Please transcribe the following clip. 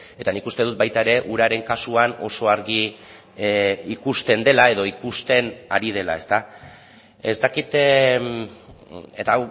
eta nik uste dut baita ere uraren kasuan oso argi ikusten dela edo ikusten ari dela ez dakit eta